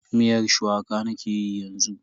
Miyar shuwaka nake yi yanzu.